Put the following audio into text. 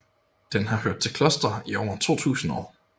Den har hørt til i klostre i over 2000 år